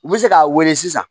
U bɛ se k'a wele sisan